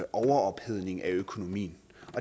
overophedning af økonomien